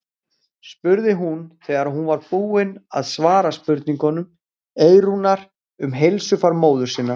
spurði hún þegar hún var búin að svara spurningum Eyrúnar um heilsufar móður sinnar.